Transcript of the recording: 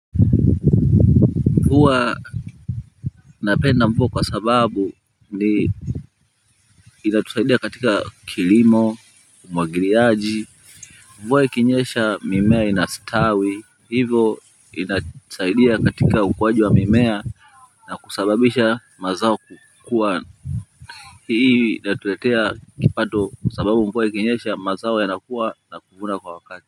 Huwa napenda mvua kwa sababu ni inatusaidia katika kilimo umwagiliaji mvua ikinyesha mimea inastawi hivo inatusaidia katika ukuaji wa mimea na kusababisha mazao kuwa hii inatuletea kipato kwa sababu mvua ikinyesha mazao yanakuwa na kuvuna kwa wakati.